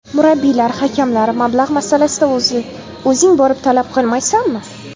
Murabbiylar, hakamlar, mablag‘ masalasida o‘zing borib talab qilmaysanmi?